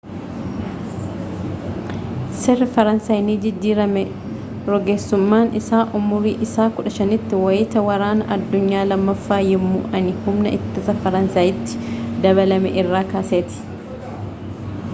seerri faransaay ni jijjiirame rogeessummaan isaa umrii isaa 15 tti wayita waraana addunyaa lammaaffaa yemmuu inni humna ittisaa faransaayitti dabalame irraa kaaseeti